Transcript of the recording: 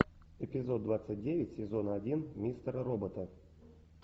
эпизод двадцать девять сезона один мистера робота